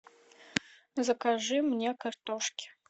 закажи мне картошки